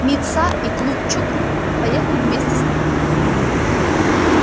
мит са и клу куч поехали вместе с ним